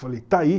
Falei, está aí.